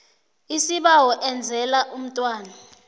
isibawo enzela umntwana